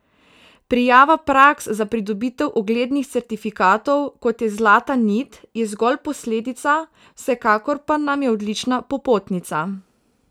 Prijava praks za pridobitev uglednih certifikatov, kot je Zlata nit, je zgolj posledica, vsekakor pa nam je odlična popotnica.